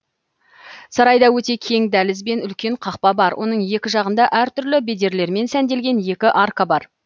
сарайда өте кең дәліз бен үлкен қақпа бар оның екі жағында әртүрлі бедерлермен сәнделген екі арка бар